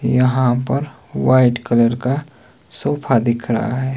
यहां पर white colour का सोफा दिख रहा है।